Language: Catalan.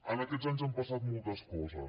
en aquests anys han passat moltes coses